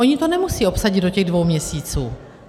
Oni to nemusí obsadit do těch dvou měsíců.